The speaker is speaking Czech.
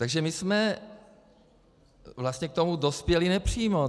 Takže my jsme vlastně k tomu dospěli nepřímo.